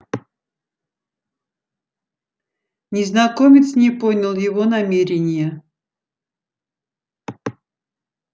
незнакомец не понял его намерения